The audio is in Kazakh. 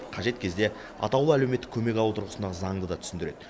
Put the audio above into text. қажет кезде атаулы әлеуметтік көмек алу тұрғысынан заңды да түсіндіреді